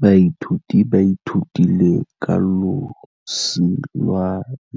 Baithuti ba ithutile ka losi lwa